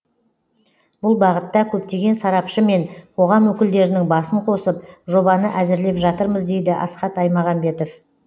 бұл бағытта көптеген сарапшы мен қоғам өкілдерінің басын қосып жобаны әзірлеп жатырмыз дейді асхат аймағамбетов